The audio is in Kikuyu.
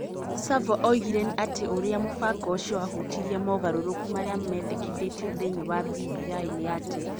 Savwa oigire atĩ ũrĩa mũbango ũcio wahutirie mogarũrũku marĩa mendekithĩtio thĩinĩ wa BBI nĩ atĩ ,